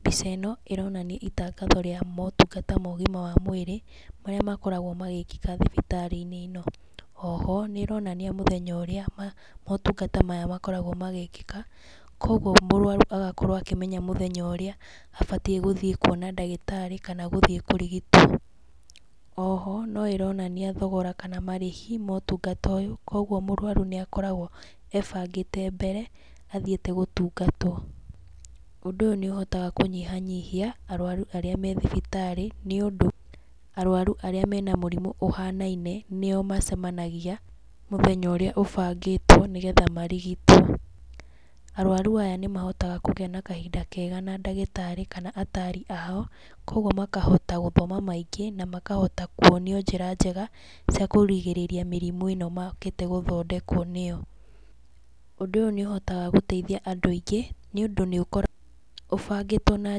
Mbica ĩno ĩronania itangatho rĩa motungata ma ũgima wa mwĩrĩ, marĩa makoragwo magĩkĩka thibitarĩ-inĩ ĩno. Oho, nĩ ĩronania mũthenya ũrĩa motungata maya makoragwo magĩĩkĩka, kũguo mũrũaru agakorwo akĩmenya mũthenya ũrĩa abatiĩ gũthiĩ kuona ndagĩtarĩ kana gũthiĩ kũrigitwo. Oho, no ĩronania thogora kana marĩhi ma ũtungata ũyũ, kũguo mũrũaru nĩ akoragwo ebangĩte mbere athiĩte gũtungatwo. Ũndũ ũyũ nĩ ũhotaga kũnyihanyihia arũaru arĩa me thibitarĩ nĩ ũndũ arũaru arĩa me na mũrimũ ũhanaine nĩ o macemanagia mũthenya ũrĩa ũbangĩtwo nĩ getha marigitwo. Arũaru aya nĩ mahotaga kũgĩa na kahinda kega na ndagĩtarĩ kana ataari ao, kũguo makahota gũthoma maingĩ na makahota kuonio njĩra njega cia kũrigĩrĩria mĩrimũ ĩno mokĩte gũthondekwo nĩ o. Ũndũ ũyũ nĩ ũhotaga gũteithia andũ aingĩ nĩ ũndũ nĩ ũkoragwo ũbangĩtwo na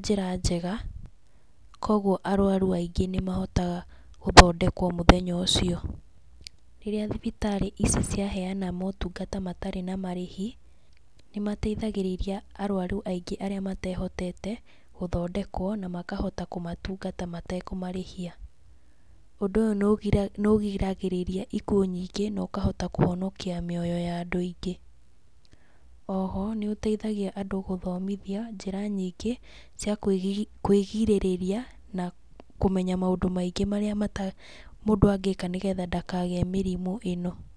njĩra njega, kũguo arũaru aingĩ nĩ mahotaga gũthondekwo mũthenya ũcio. Rĩrĩa thibitarĩ ici ciaheana motungata matarĩ na marĩhi, nĩ mateithagĩrĩria arũaru aingĩ arĩa matehotete, gũthondekwo na makahota kũmatungata matekũmarĩhia. Ũndũ ũyũ nĩ ũgiragĩrĩria ikuũ nyingĩ, na ũkahota kũhonokia mĩoyo ya andũ aingĩ. Oho, nĩ ũteithagia andũ gũthomithio njĩra nyingĩ cia kũĩgirĩrĩria, na kũmenya maũndũ maingĩ marĩa mũndũ angĩka nĩ getha ndakagĩe mĩrimũ ĩno.